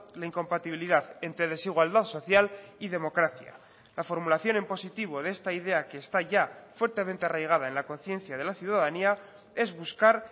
la incompatibilidad entre desigualdad social y democracia la formulación en positivo de esta idea que esta ya fuertemente arraigada en la conciencia de la ciudadanía es buscar